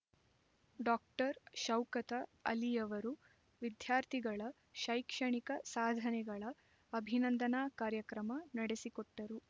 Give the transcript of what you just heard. doctor Shaukat ಅಲಿಯವರು ವಿದ್ಯಾರ್ಥಿಗಳ ಶೈಕ್ಷಣಿಕ ಸಾಧನೆಗಳ ಅಭಿನಂದನಾ ಕಾರ್ಯಕ್ರಮ ನಡೆಸಿಕೊಟ್ಟರು